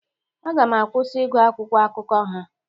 Aga m akwụsị ịgwụ akwụkwọ akụkọ ha.